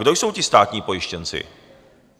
Kdo jsou ti státní pojištěnci?